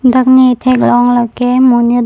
dak ne theklong lake monit.